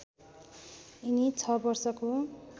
यिनी ६ वर्षको